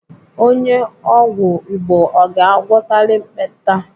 Onye ọgwụ Igbo ọ ga-agwọtali ekpenta?